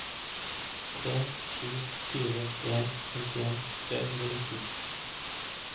tre sju fire en femtien tre hundre og nitten